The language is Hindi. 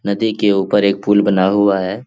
नदी के ऊपर एक पुल बना हुआ है।